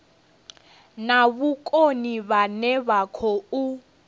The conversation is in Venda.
na vhukoni vhane vha khou